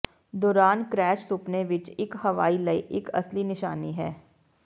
ਦੌਰਾਨ ਕਰੈਸ਼ ਸੁਪਨੇ ਵਿੱਚ ਇੱਕ ਹਵਾਈ ਲਈ ਇੱਕ ਅਸਲੀ ਨਿਸ਼ਾਨੀ ਹੈ